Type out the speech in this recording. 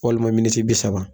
Walima miniti bi saba